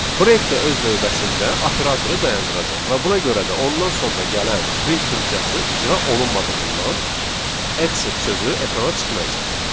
Break də öz növbəsində operatoru dayandıracaq və buna görə də ondan sonra gələn print funksiyası icra olunmadığından exit sözü ekrana çıxmayacaq.